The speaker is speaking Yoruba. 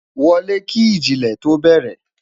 wolè kì iji ilé tó bere